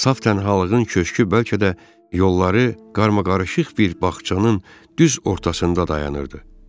Saf tənhalığın köşkü bəlkə də yolları qarmaqarışıq bir bağçanın düz ortasında dayanırdı.